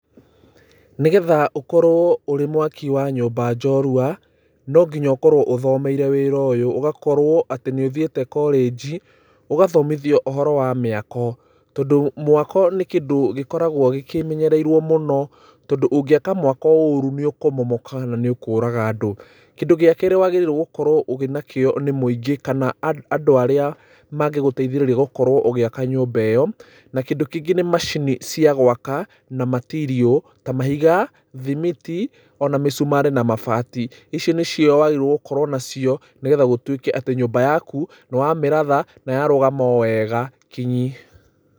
Nĩgetha ũkorwo ũrĩ mwaki wa nyũmba njorua, no nginya ũkorwo ũthomeire wĩra ũyũ, ũgakorwo atĩ nĩ ũthiĩte korĩnji, ũgathomithio ũhoro wa mĩako. Tondũ mwako nĩ kĩndũ gĩkoragwo kĩmenyereirwo mũno, tondũ ũngĩka mwako ũũru nĩ ũkũmomoka na nĩ ũkũraga andũ. Kĩndũ gĩa keerĩ wagĩrĩirwo wĩna kĩo nĩ mũingĩ kana andũ arĩa mangĩgũteithĩrĩria gũkorwo ũgĩka nyũmba ĩyo. Na kĩndũ kĩngĩ nĩ macini cia gwaka, na material. Ta mahiga, thimiti, ona mĩcumarĩ na mabati. Ici nĩcio wagĩrĩirwo gũkorwo nacio nĩgetha gũtuĩke atĩ nyũmba yaku, nĩ wamĩratha, na yarũgama wega kinyi.